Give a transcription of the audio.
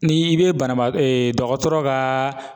Ni i be banabaa e dɔkɔtɔrɔ ka